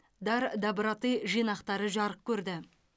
дар доброты жинақтары жарық көрді